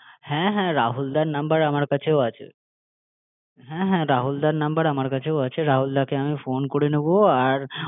হ্যাঁ হ্যাঁ ফোন করে একটু নিজেদের মতো করে একটু দেখে নিও রাহুলদার নাম্বার আমার কাছেও আছে হ্যাঁ হ্যাঁ রাহুলদার নাম্বার আমার কাছেও আছে রাহুলদাকে আমি ফোন করে নেবো আর